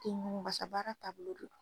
Toŋ basa baara taabolo don